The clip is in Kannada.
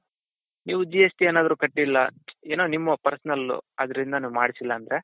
ನೀವು GST ಏನಾದ್ರೂ ಕಟ್ಟಿಲ್ಲ ಏನೋ ನಿಮ್ಮ personal ಅದ್ರಿಂದನು ನೀವು ಮಾಡ್ಸಿಲ್ಲ ಅಂದ್ರೆ.